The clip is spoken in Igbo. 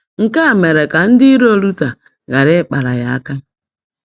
Nke a mere ka ndị iro Luther ghara ịkpara ya aka.